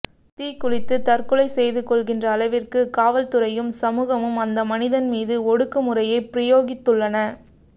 தீக்குளித்துத் தற்கொலை செய்து கொள்கின்ற அளவிற்கு காவல்துறையும் சமூகமும் அந்த மனிதன் மீது ஒடுக்குமுறையைப் பிரயோகித்துள்ளன